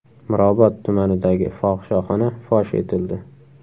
Mirobod tumanidagi fohishaxona fosh etildi.